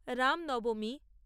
Ram Nabami